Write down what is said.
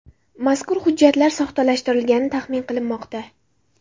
Mazkur hujjatlar soxtalashtirilgani taxmin qilinmoqda.